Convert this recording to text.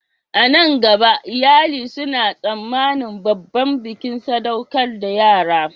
A nan gaba, iyali suna tsammanin babban bikin sadaukar da yara